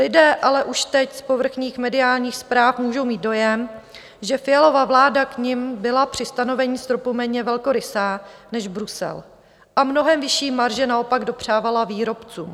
Lidé ale už teď z povrchních mediálních zpráv můžou mít dojem, že Fialova vláda k nim byla při stanovení stropu méně velkorysá než Brusel a mnohem vyšší marže naopak dopřávala výrobcům.